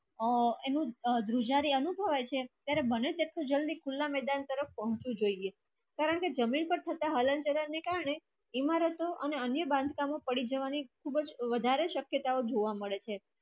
એ એમ ધ્રુજારી અવતુ હોય તો ત્યારે માને જલદી ખુલ્લા મેદાન તરફ જામતુ હોય કરણ કે જમીન માં ખોટા હલન ચલણ ના કરને ઈમારતો અને અન્ય બંધકમ પડી જવાની ખુપચ વધારે શકતયો જોવા મડે છે